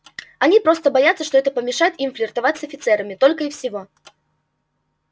они просто боятся что это помешает им флиртовать с офицерами только и всего